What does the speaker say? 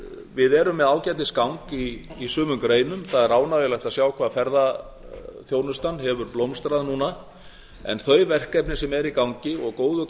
við erum með ágætis gang í sumum greinum það er ánægjulegt að sjá hvaða ferðaþjónustan hefur blómstrað núna en þau verkefni sem eru í gangi og góður